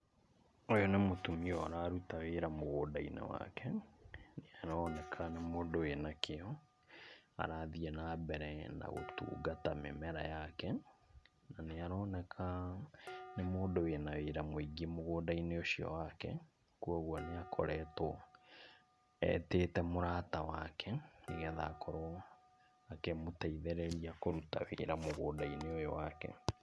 Ũyũ nĩ mũtumia ũraruta wĩra mũgũnda-inĩ wake, nĩ aroneka nĩ mũndũ wĩna kĩo, arathiĩ na mbere na gũtungata mĩmera yake. Na, nĩ aroneka nĩ mũndũ wĩna wĩra mũingĩ mũgũnda-inĩ ũcio wake, kuoguo nĩ akoretwo etĩte mũrata wake, nĩ getha akorwo akĩmũteithĩrĩria kũruta wĩra mũgũnda-inĩ ũyũ wake.